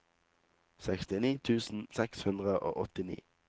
sekstini tusen seks hundre og åttini